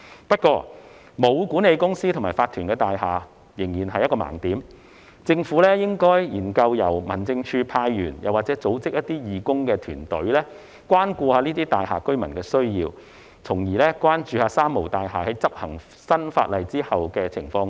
不過，沒有管理公司和法團的大廈仍然是一個盲點，政府應該研究由民政事務署派員或組織義工團隊，關顧這類大廈居民的需要，從而關注"三無大廈"在執行新法例後的情況。